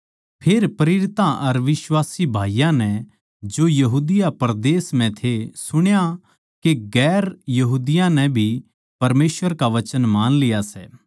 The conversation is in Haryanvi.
फेर प्रेरितां अर बिश्वासी भाईयाँ नै जो यहूदिया परदेस म्ह थे सुण्या के दुसरी जात्तां नै भी परमेसवर का वचन मान लिया सै